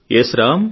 yes Ram